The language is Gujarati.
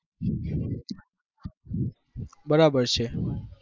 બરાબર છે.